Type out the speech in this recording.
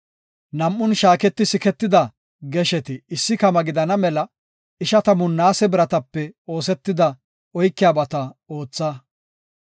Nam7un shaaketi siketida gesheti issi kama gidana mela ishatamu naase biratape oosetida oykiyabata ootha.